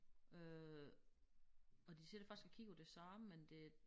Øh og de sidder faktisk og kigger på det samme men det